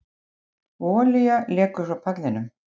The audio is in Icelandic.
Olía lekur frá pallinum